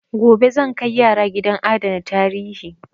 Gobe zan kai yara gidan adana tarihi.